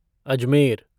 Ajmer